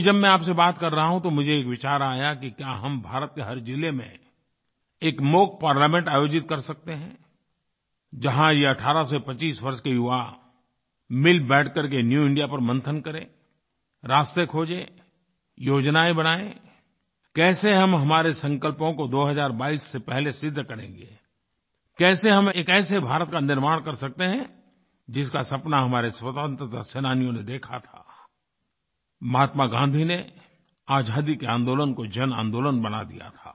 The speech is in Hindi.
अभी जब मैं आपसे बात कर रहा हूँ तो मुझे एक विचार आया कि क्या हम भारत के हर ज़िले में एक मॉक पार्लामेंट आयोजित कर सकते हैं जहाँ ये 18 से 25 वर्ष के युवा मिलबैठ करके न्यू इंडिया पर मंथन करें रास्ते खोजें योजनाएँ बनाएँ कैसे हम हमारे संकल्पों को 2022 से पहले सिद्ध करेंगें कैसे हम एक ऐसे भारत का निर्माण कर सकते हैं जिसका सपना हमारे स्वतंत्रता सेनानियों ने देखा था महात्मा गाँधी ने आज़ादी के आंदोलन को जनआन्दोलन बना दिया था